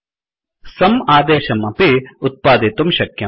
sumसम् आदेशं अपि उत्पादितुं शक्यम्